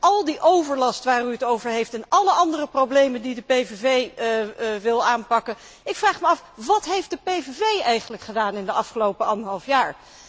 Dus al die overlast waar u het over heeft en alle andere problemen die de PVV wil aanpakken, ik vraag mij af wat heeft de PVV eigenlijk gedaan in de afgelopen anderhalf jaar?